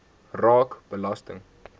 raak belasting